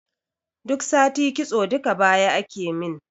Duk sati kitso duka baya akemin